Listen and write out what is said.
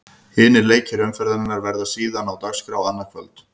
Hinir leikir umferðarinnar verða síðan á dagskrá annað kvöld.